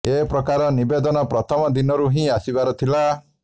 ଏ ପ୍ରକାର ନିବେଦନ ପ୍ରଥମ ଦିନରୁ ହିଁ ଆସିବାର ଥିଲା